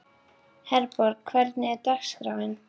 Herborg, hvernig er dagskráin?